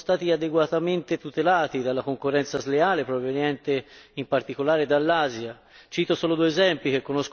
Interi settori non sono stati adeguatamente tutelati dalla concorrenza sleale, proveniente in particolare dall'Asia.